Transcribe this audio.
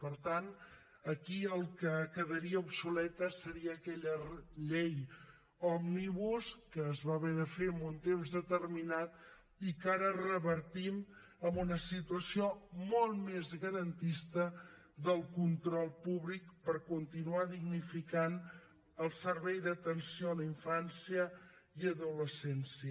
per tant aquí el que quedaria obsoleta seria aquella llei òmnibus que es va haver de fer en un temps determinat i que ara revertim amb una situació molt més garantista del control públic per continuar dignificant el servei d’atenció a la infància i adolescència